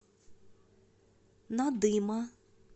надыма